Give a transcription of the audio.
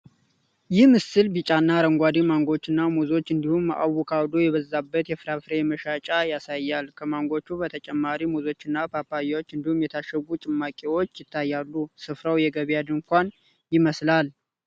ይህ ምስል ቢጫና አረንጓዴ ማንጎዎችና ሙዞች እንድሁም አቮካዶ የበዛበትን የፍራፍሬ መሸጫ ያሳያል። ከማንጎዎቹ በተጨማሪ ሙዞችና ፓፓያ እንዲሁም የታሸጉ ጭማቂዎች ይታያሉ::ስፍራው የገበያ ድንኳን ይመስላል::